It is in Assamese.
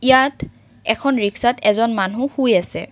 ইয়াত এখন ৰিক্সাত এজন মানু্হ শুই আছে।